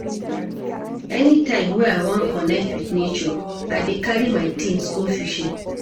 Anytime wey I wan connect wit nature, I dey carry my tins go fishing.